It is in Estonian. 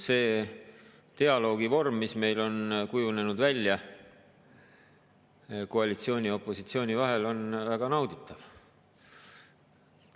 See dialoogivorm, mis meil on kujunenud välja koalitsiooni ja opositsiooni vahel, on väga nauditav.